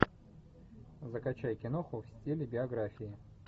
закачай киноху в стиле биография